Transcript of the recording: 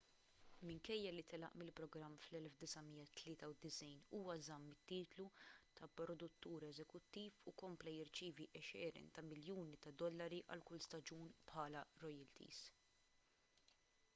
minkejja li telaq mill-programm fl-1993 huwa żamm it-titlu ta' produttur eżekuttiv u kompla jirċievi għexieren ta' miljuni ta' dollari għal kull staġun bħala royalties